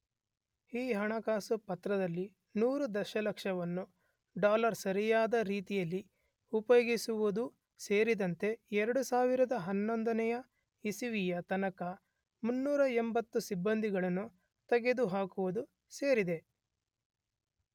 ಈ ಹಣಕಾಸು ಪತ್ರದಲ್ಲಿ 100 ದಶಲಕ್ಷವನ್ನು ಡಾಲರ್ ಸರಿಯಾದ ರೀತಿಯಲ್ಲಿ ಉಪಯೋಗಿಸುವುದೂ ಸೇರಿದಂತೆ 2011ನೇ ಇಸವಿಯ ತನಕ 380 ಸಿಬ್ಬಂದಿಗಳನ್ನು ತೆಗೆದುಹಾಕುವುದು ಸೇರಿದೆ.